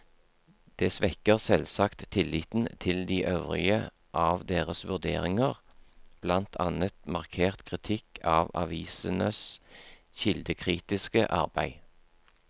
Det svekker selvsagt tilliten til de øvrige av deres vurderinger, blant annet markert kritikk av avisenes kildekritiske arbeid.